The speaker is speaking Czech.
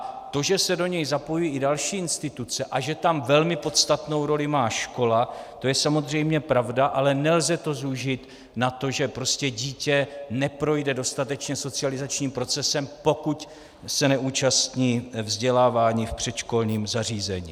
A to, že se do něj zapojují i další instituce a že tam velmi podstatnou roli má škola, to je samozřejmě pravda, ale nelze to zúžit na to, že prostě dítě neprojde dostatečně socializačním procesem, pokud se nezúčastní vzdělávání v předškolním zařízení.